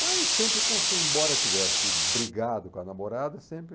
Mas sempre, com sem, embora tivesse brigado com a namorada, sempre...